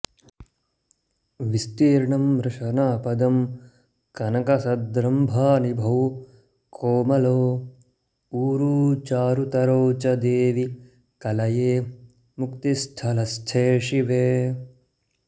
विस्तीर्णं रशनापदं कनकसद्रम्भानिभौ कोमलौ ऊरू चारुतरौ च देवि कलये मुक्तिस्थलस्थे शिवे